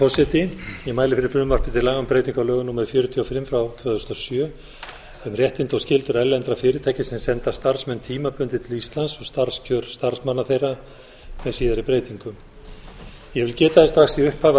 forseti ég mæli fyrir frumvarpi til laga um breytingu á lögum númer fjörutíu og fimm tvö þúsund og sjö um réttindi og skyldur erlendra fyrirtækja sem senda starfsmenn tímabundið til íslands og starfskjör starfsmanna þeirra með síðari breytingum ég vil geta þess strax í upphafi að